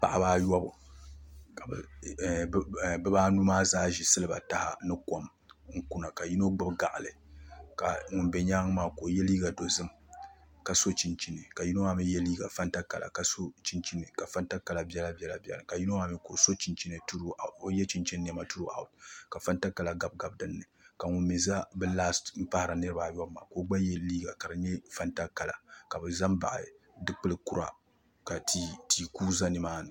Paɣiba ayobu ka bi niriba anu maa zaa zi siliba taha ni kom ŋ kuna ka yino gbibi gɔɣili ka ŋun bɛ yɛanga maa ka o yiɛ liiga dozim ka so chinchini ka yino maa mi yiɛ liiga fanta kala ka so chinchini ka fanta kala bɛla bɛla bɛ dinni ka ŋuni bala mi ka o yiɛ chinchini nɛma turuu awuti ka fanta kala gabi gabi dinni ka ŋuni mi za bi lasiti n pahiri a yobu maa gba yiɛ liiga kadi yɛ fanta kala ka bi za n baɣi du kpulli kura ka tia kugi za ni maa ni.